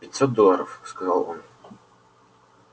пятьсот долларов сказал он